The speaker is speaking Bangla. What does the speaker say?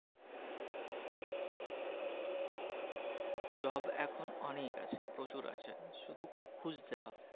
job এখন অনেক আছে প্রচুর আছে শুধু খুঁজতে হবে।